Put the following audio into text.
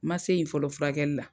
N ma se ye fɔlɔ furakɛlila.